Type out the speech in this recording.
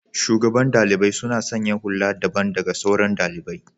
shugaban ɗaliɓai suna sanya hulla daɓan daga sauran ɗaliɓai.